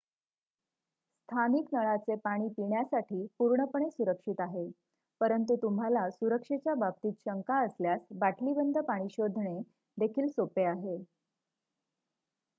स्थानिक नळाचे पाणी पिण्यासाठी पूर्णपणे सुरक्षित आहे परंतु तुम्हाला सुरक्षेच्या बाबतीत शंका असल्यास बाटलीबंद पाणी शोधणे देखील सोपे आहे